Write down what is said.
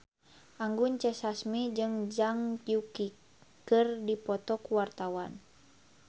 Anggun C. Sasmi jeung Zhang Yuqi keur dipoto ku wartawan